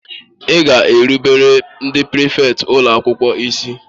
Ị ga-erubere ndị prịfèkt ụlọ akwụkwọ isi!